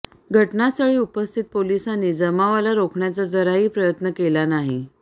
घटनास्थळी उपस्थित पोलिसांनी जमावाला रोखण्याचा जराही प्रयत्न केला नाही